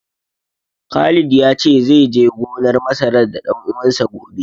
Khalid ya ce zai je gonar masarar da ɗan uwansa, gobe.